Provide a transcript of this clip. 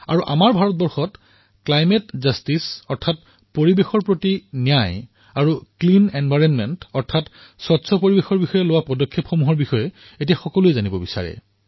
আৰু আমাৰ ভাৰতত জলবায়ু ন্যায় আৰু স্বচ্ছ পৰিবেশৰ দিশত গ্ৰহণ কৰা বিভিন্ন পদক্ষেপৰ বিষয়ে এতিয়া জনতাই জানিব বিচাৰে